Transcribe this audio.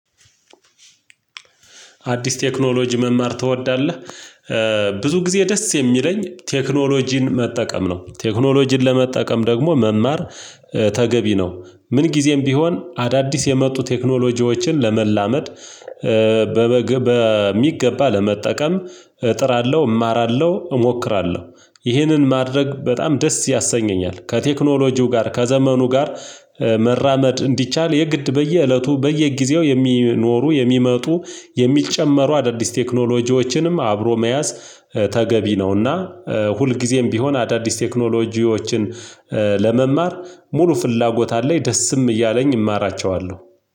አዲስ ቴክኖሎጂ መማር ትወዳለህ? ብዙ ጊዜ ደስ የሚለኝ ቴክኖሎጂን መጠቀም ነው። ቴክኖሎጂን ለመጠቀም ደግሞ መማር ተገቢ ነው። ምን ጊዜም ቢሆን አዳዲስ የመጡ ቴክኖሎጂዎችን ለመላመድ። በሚገባ ለመጠቀም እጥራለሁ እማራለሁ እሞክራለሁ ይህንን ማድረግ በጣም ደስ ያሰኘኛል። ከቴክኖሎጂው ጋር ከዘመኑ ጋር መራመድ እንዲቻል የግድ በየእለቱ በየጊዜው የሚኖሩ የሚመጡ የሚጨመሩ አዳዲስ ቴክኖሎጂዎችንም አብሮ መያዝ ተገቢ ነውና። ሁልጊዜም ቢሆን አዳዲስ ቴክኖሎጂዎችን ለመማር ሙሉ ፍላጎት አለኝ ደስም እያለኝ እማራቸዋለሁ።